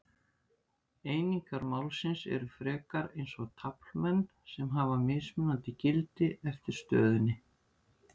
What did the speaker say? Einingar málsins eru frekar eins og taflmenn sem hafa mismunandi gildi eftir stöðunni.